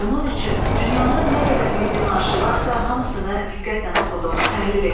Bunun üçün dünyanın nə qədər milli marşı varsa hamısını diqqətlə oxudum, təhlil etdim.